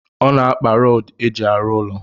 Ọ na-akpa rọdụ eji arụ ụlọ